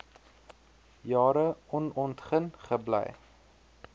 jare onontgin gebly